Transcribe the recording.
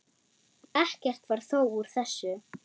Ekkert varð þó úr þessu.